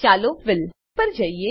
ચાલો ફિલ પર જઈએ